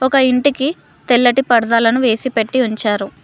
ఒక ఇంటికి తెల్లటి పర్దాలను వేసి పెట్టి ఉంచారు.